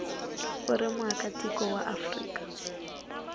u ri muakatiko wa afrika